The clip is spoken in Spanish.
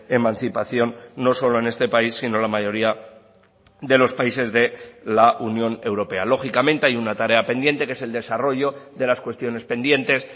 emancipación no solo en este país sino la mayoría de los países de la unión europea lógicamente hay una tarea pendiente que es el desarrollo de las cuestiones pendientes